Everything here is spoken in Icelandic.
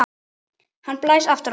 Hann blæs aftur á það.